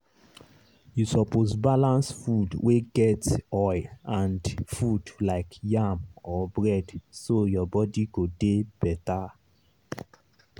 you suppose balance food wey get oil and food like yam or bread so your body go dey better.